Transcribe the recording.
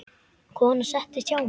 Konan settist hjá mér.